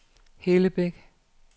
Hellebæk